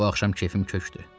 Bu axşam kefim kökdür.